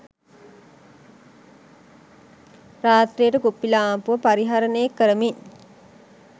රාත්‍රියට කුප්පිලාම්පුව පරිහරණය කරමින්